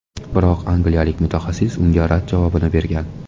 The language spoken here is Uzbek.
Biroq angliyalik mutaxassis unga rad javobini bergan.